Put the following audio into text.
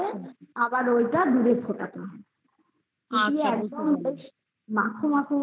আবার ঐটা দুধে দিতে হবে দিয়ে একদম ওই মাখু মাখু